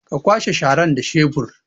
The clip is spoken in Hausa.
Ka kwashe sharan da shebur